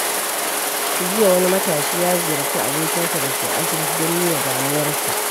Jiya, wani matashi ya ziyarci abokinsa da ke asibiti don nuna damuwarsa.